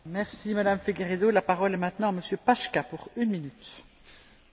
Fenomén bezdomovstva dlhodobo ťaží civilizovanú a kultúrnu spoločnosť Európy.